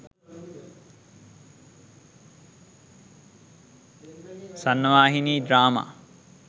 swrnawahini drama